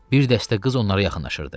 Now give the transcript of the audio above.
Bir dəstə qız onlara yaxınlaşırdı.